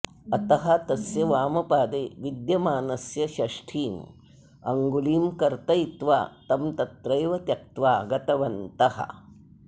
अतः तस्य वामपादे विद्यमानस्य षष्ठीम् अङ्गुलीं कर्तयित्वा तं तत्रैव त्यक्त्वा गतवन्तः